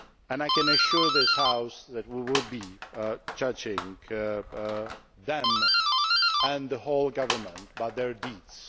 I can assure this House that we will be judging them and the whole government by their deeds.